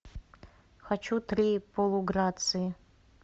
хочу три полуграции